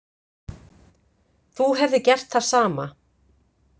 Þú hefðir gert það sama.